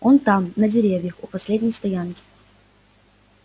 он там на деревьях у последней стоянки